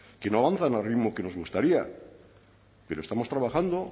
que no avanzan al ritmo que nos gustaría pero estamos trabajando